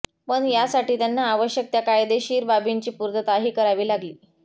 पण यासाठी त्यांना आवश्यक त्या कायदेशीर बाबींची पूर्तताही करावी लागली